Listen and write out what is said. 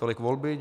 Tolik volby.